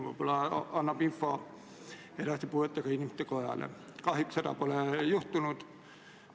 Riigikaitsekomisjon arutas eelnõu enne teisele lugemisele esitamist 21. oktoobri istungil.